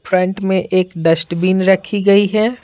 Front में एक dustbin रखी गई है।